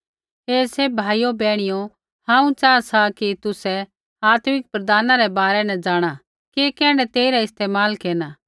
हे सैभ भाइयो बैहणियो हांऊँ च़ाहा सा कि तुसै आत्मिक वरदाना रै बारै न जाँणा कि कैण्ढै तेइरा इस्तेमाल केरना